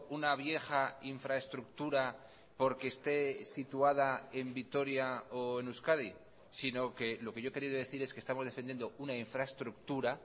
una vieja infraestructura porque esté situada en vitoria o en euskadi sino que lo que yo he querido decir es que estamos defendiendo una infraestructura